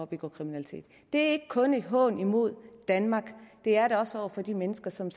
begå kriminalitet det er ikke kun en hån imod danmark det er det også over for de mennesker som